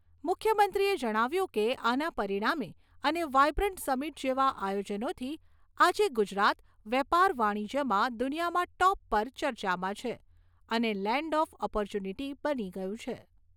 મુખ્યમંત્રીએ જણાવ્યું કે, આના પરિણામે અને વાયબ્રન્ટ સમિટ જેવા આયોજનોથી આજે ગુજરાત વેપાર વાણિજ્યમાં દુનિયામાં ટોપ પર ચર્ચામાં છે અને લેન્ડ ઓફ ઓપોર્ચ્યુનિટી બની ગયું છે.